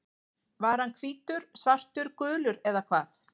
Var hann hvítur, svartur, gulur eða hvað?